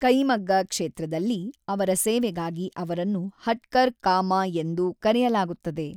ಕೈಮಗ್ಗ ಕ್ಷೇತ್ರದಲ್ಲಿ ಅವರ ಸೇವೆಗಾಗಿ ಅವರನ್ನು ಹಟ್ಕರ್‌ ಕಾ ಮಾ ಎಂದು ಕರೆಯಲಾಗುತ್ತದೆ.